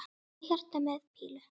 Og hjarta með pílu!